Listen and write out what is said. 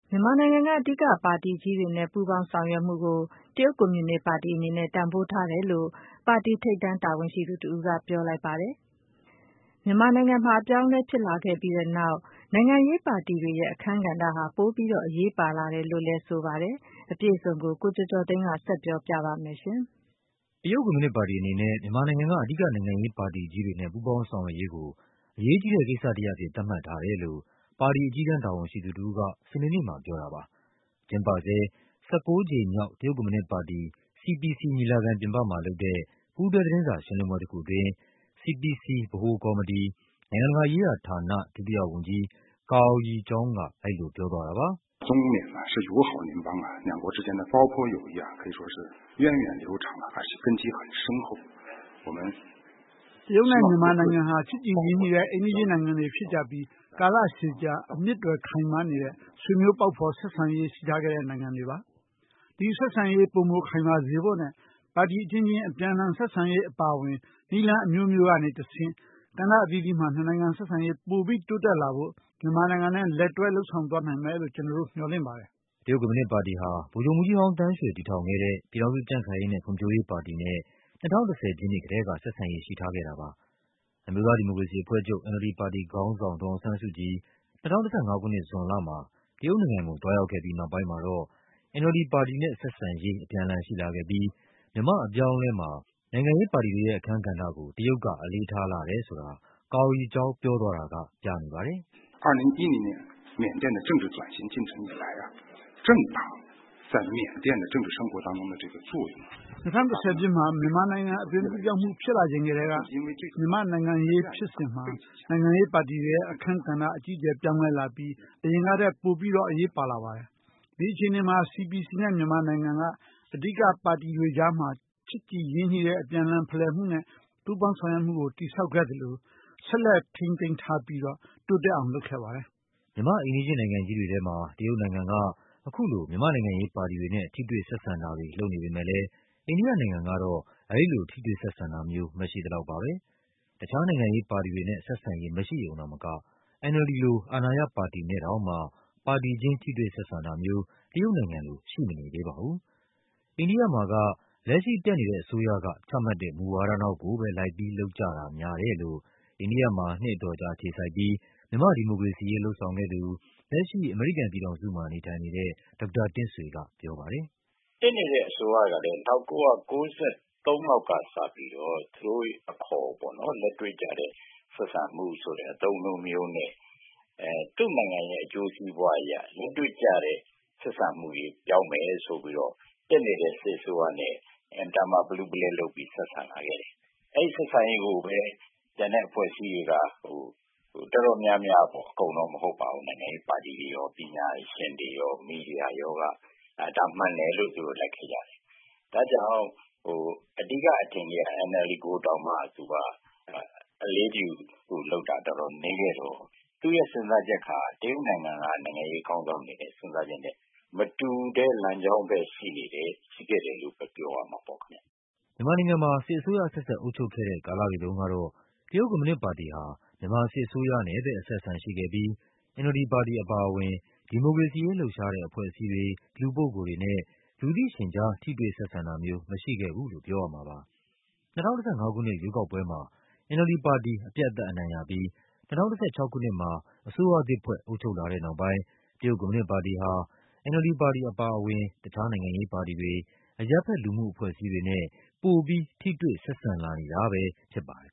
မြန်မာနိုင်ငံက အဓိကပါတီကြီးတွေနဲ့ ပူးပေါင်းလုပ်ဆောင်မှုကို တရုတ်ကွန်မြူနစ်ပါတီ အနေနဲ့ တန်ဖိုးထားတယ်လို့ ပါတီထိပ်တန်းတာဝန်ရှိသူတဦးက ပြောလိုက်ပါတယ်။ မြန်မာနိုင်ငံမှာ အပြောင်းအလဲဖြစ်လာပြီးတဲ့နောက် နိုင်ငံရေးပါတီတွေရဲ့ အခန်းကဏ္ဍဟာ ပိုပြီးတော့ အရေးပါလာတယ်လို့လဲ ဆိုပါတယ်။ အပြည့်အစုံကို ကိုကျော်ကျော်သိန်းက တင်ပြထားပါတယ်။ တရုတ်ကွန်မြူနစ်ပါတီအနေနဲ့ မြန်မာနိုင်ငံက အဓိကနိုင်ငံရေးပါတီကြီးတွေနဲ့ ပူးပေါင်းဆောင်ရွက်ရေးကို အရေးကြီးတဲ့ကိစ္စ တရပ်အဖြစ် သတ်မှတ်ထားတယ်လို့ ပါတီအကြီးတန်းတာဝန်ရှိသူတဦးက စနေနေ့မှာ ပြောတာပါ။ ကျင်းပဆဲ ၁၉ ကြိမ်မြောက် တရုတ်ကွန်မြူနစ်ပါတီ CPC ညီလာခံ ပြင်ပမှာလုပ်တဲ့ ပူးတွဲသတင်းစာရှင်းလင်းပွဲတခုအတွင်း CPC ဗဟိုကော်မတီ၊ နိုင်ငံတကာရေးရာဌာန ဒုတိယဝန်ကြီး၊ Guo Yezhou က အဲဒီလိုပြောသွားတာပါ။ “တရုတ်နဲ့မြန်မာနိုင်ငံဟာ ချစ်ကြည်ရင်းနှီးတဲ့ အိမ်နီးချင်းနိုင်ငံတွေဖြစ်ကြပြီး ကာလရှည်ကြာ အမြစ်တွယ်ခိုင်မာနေတဲ့ ဆွေမျိုးပေါက်ဖော်ဆက်ဆံရေး ရှိထားတဲ့နိုင်ငံတွေပါ။ ဒီဆက်ဆံရေး ပိုမိုခိုင်မာစေဖို့နဲ့ ပါတီအချင်းချင်း အပြန်အလှန် ဆက်ဆံရေး အပါအဝင် နည်းလမ်းအမျိုးမျိုးကနေတဆင့် ကဏ္ဍအသီးသီးမှာ နှစ်နိုင်ငံဆက်ဆံရေး ပိုပြီးတိုးတက်လာဖို့ မြန်မာနိုင်ငံနဲ့ လက်တွဲ လုပ်ဆောင်သွားနိုင်မယ်လို့ ကျနော်တို့မျှော်လင့်ပါတယ်။” တရုတ်ကွန်မြူနစ်ပါတီဟာ ဗိုလ်ချုပ်မှူးကြီးဟောင်းသန်းရွှေ တည်ထောင်ခဲ့တဲ့ ပြည်ထောင်စုကြံ့ခိုင်ရေးနဲ့ ဖွံ့ဖြိုးရေးပါတီနဲ့ ၂၀၁၀ ပြည့်နှစ်ကတည်းက ဆက်ဆံရေး ရှိထားခဲ့တာပါ။ အမျိုးသားဒီမိုကရေစီအဖွဲ့ချုပ် NLD ပါတီခေါင်းဆောင် ဒေါ်အောင်ဆန်းစုကြည် ၂၀၁၅ ခုနှစ် ဇွန်လမှာ တရုတ်နိုင်ငံကို သွားရောက်ခဲ့ပြီးနောက်ပိုင်းမှာတော့ NLD ပါတီနဲ့ ဆက်ဆံရေး အပြန်အလှန် ရှိလာခဲ့ပြီး မြန်မာ့အပြောင်းအလဲမှာ နိုင်ငံရေးပါတီတွေရဲ့အခန်းကဏ္ဍကို တရုတ်က အလေးထားလာတယ်ဆိုတာ Guo Yezhou ပြောသွား တာက ပြနေပါတယ်။ “၂၀၁၀ ပြည့်နှစ်မှာ မြန်မာ့နိုင်ငံရေးအသွင်ကူးပြောင်းမှု ဖြစ်လာချိန်ကတည်းက မြန်မာနိုင်ငံရေးဖြစ်စဉ်မှာ နိုင်ငံရေးပါတီ တွေရဲ့အခန်းကဏ္ဍ အကြီးအကျယ်ပြောင်းလဲလာပြီး အရင်ကထက် ပိုပြီးတော့ အရေးပါလာပါတယ်။ ဒီအခြေအနေမှာ CPC နဲ့ မြန်မာနိုင်ငံက အဓိကပါတီတွေကြားမှာ ချစ်ကြည်ရင်းနှီးတဲ့ အပြန်အလှန် ဖလှယ်မှုနဲ့ ပူးပေါင်းဆောင်ရွက်မှုကို တည်ဆောက်ခဲ့ သလို ဆက်လက်ထိန်းသိမ်းထားပြီးတော့ တိုးတက်အောင် လုပ်ခဲ့ပါတယ်။” မြန်မာ့အိမ်နီးချင်းနိုင်ငံကြီးတွေထဲမှာ တရုတ်နိုင်ငံက အခုလို မြန်မာ့နိုင်ငံရေးပါတီတွေနဲ့ ထိတွေ့ဆက်ဆံတာတွေ လုပ်နေပေမဲ့လဲ အိန္ဒိယနိုင်ငံကတော့ အဲဒီလို ထိတွေ့ဆက်ဆံတာမျိုး မရှိသလောက်ပါပဲ။ တခြားနိုင်ငံရေးပါတီတွေနဲ့ ဆက်ဆံရေးမရှိရုံသာမက NLD လို အာဏာရပါတီနဲ့တောင်မှ ပါတီချင်း ထိတွေ့ဆက်ဆံတာမျိုး တရုတ်နိုင်ငံလို ရှိမနေသေးပါဘူး။ အိန္ဒိယမှာက လက်ရှိ တက်နေတဲ့အစိုးရက ချမှတ်တဲ့မူဝါဒနောက်ကိုပဲ လိုက်ပြီး လုပ်ကြတာများတယ်လို့ အိန္ဒိယမှာ နှစ်အတော်ကြာအခြေစိုက်ပြီး မြန်မာ့ဒီမိုကရေစီရေး လုပ်ဆောင်ခဲ့သူ၊ လက်ရှိ အမေရိကန်ပြည်ထောင်စုမှာ နေထိုင်နေတဲ့ ဒေါက်တာတင့််ဆွေက ပြောပါတယ်။ “တက်နေတဲ့အစိုးရကလဲ ၁၉၉၃ လောက်ကစပြီးတော့၊ သူတို့အခေါ်ပေါ့နော်၊ လက်တွေ့ကျတဲ့ ဆက်ဆံမှုဆိုတဲ့ အသုံးအနှုန်းမျိုးနဲ့ သူ့နိုင်ငံရဲ့အကျိုးစီးပွားအရ လက်တွေ့ကျတဲ့ ဆက်ဆံမှုတွေ ပြောင်းမယ်ဆိုပြီးတော့ တက်နေတဲ့ စစ်အစိုးရနဲ့ အင်မတန်မှာ ပလူးပလဲလုပ်ပြီး ဆက်ဆံလာခဲ့ တယ်။ အဲဒီဆက်ဆံရေးကိုပဲ ကျန်တဲ့အဖွဲ့အစည်းတွေက၊ တော်တော်များများပေါ့၊ အကုန်တော့ မဟုတ်ပါဘူး၊ နိုင်ငံရေးပါတီတွေရော၊ ပညာရှင်တွေရော၊ မီဒီယာရောက ဒါမှန်တယ်လို့ သူတို့ လိုက်ခဲ့ကြတယ်။ “ဒါ့ကြောင့် အဓိကအထင်ကရ NLD ကိုတောင်မှ သူက အလေးတယူလုပ်တာ တော်တော် နည်း ခဲ့တော့ သူ့ရဲ့စဉ်းစားချက်ဟာ တရုတ်နိုင်ငံက နိုင်ငံရေးခေါင်းဆောင်တွေရဲ့ စဉ်းစားချက်နဲ့ မတူတဲ့လမ်းကြောင်းဘက် ရှိခဲ့တယ်လို့ပဲ ပြောရမှာပေါ့ခင်ဗျ။” မြန်မာနိုင်ငံမှာ စစ်အစိုးရအဆက်ဆက် အုပ်ချုပ်ခဲ့တဲ့ ကာလတွေတုန်းကတော့ တရုတ်ကွန်မြူနစ်ပါတီဟာ မြန်မာစစ်အစိုးရနဲ့ပဲ အဆက်အဆံရှိခဲ့ပြီး NLD ပါတီအပါအဝင် ဒီမိုကရေစီရေးလှုပ်ရှားတဲ့ အဖွဲ့အစည်းတွေ၊ လူပုဂ္ဂိုလ်တွေနဲ့ လူသိရှင်ကြား ထိတွေ့ ဆက်ဆံတာမျိုး မရှိခဲ့ဘူးလို့ ပြောရမှာပါ။ ၂၀၁၅ ခုနှစ် ရွေးကောက်ပွဲမှာ NLD ပါတီ အပြတ်အသတ်အနိုင်ရပြီး ၂၀၁၆ ခုနှစ်မှာ အစိုးရသစ်ဖွဲ့ အုပ်ချုပ်လာတဲ့နောက်ပိုင်း တရုတ်ကွန်မြူနစ်ပါတီဟာ NLD ပါတီအပါအဝင် တခြားနိုင်ငံရေးပါတီတွေ၊ အရပ်ဘက် လူမှုအဖွဲ့အစည်းတွေနဲ့ ပိုပြီး ထိတွေ့ ဆက်ဆံလာနေတာပဲဖြစ်ပါတယ်